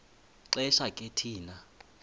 xesha ke thina